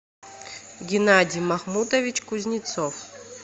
геннадий махмутович кузнецов